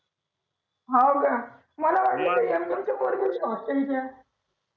हो का मला वाटलं M com पोरी होती काय hostel च्या